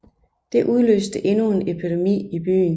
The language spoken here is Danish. Det udløste endnu en epidemi i byen